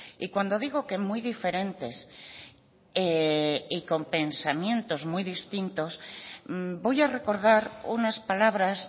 y cuando digo que muy diferentes y con pensamientos muy distintos voy a recordar unas palabras